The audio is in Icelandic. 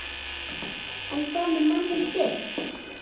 En hvað með manninn þinn?